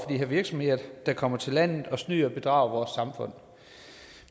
her virksomheder der kommer til landet og snyder og bedrager vores samfund